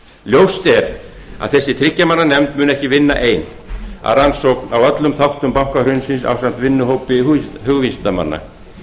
ljóst er að þessi þriggja manna nefnd mun ekki vinna ein að rannsókn á öllum þáttum bankahrunsins ásamt vinnuhópi hugvísindamanna